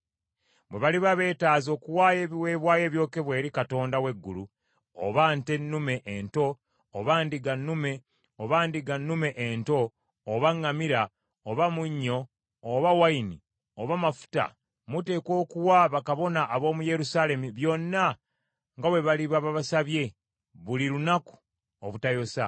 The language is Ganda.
Bwe baliba beetaaze okuwaayo ebiweebwayo ebyokebwa eri Katonda w’eggulu, oba nte nnume ento, oba ndiga nnume, oba ndiga nnume ento, oba ŋŋaano, oba munnyo, oba nvinnyo, oba mafuta, muteekwa okuwa bakabona ab’omu Yerusaalemi byonna nga bwe baliba basabye buli lunaku obutayosa,